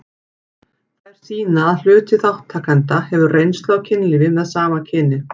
Þær sýna að hluti þátttakenda hefur reynslu af kynlífi með sama kyni.